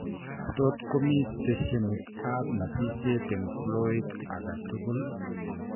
Tot komii steshenit ab nasisiek eng' flooit aketugul